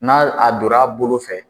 N'a a don ra bolo fɛ